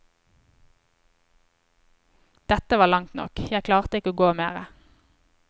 Dette var langt nok, jeg klarte ikke å gå mere.